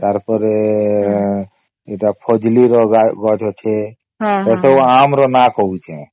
ତାର ପରେ ଏଟା ଫଜଲୀ ର ଗଛ ଅଛେ ଏ ସବୁ ଆମ ର ନାମ କହୁଛେ